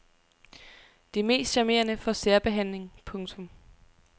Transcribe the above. De mest charmerende får særbehandling. punktum